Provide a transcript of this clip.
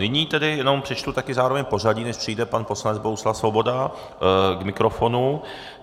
Nyní tedy jenom přečtu také zároveň pořadí, než přijde pan poslanec Bohuslav Svoboda k mikrofonu.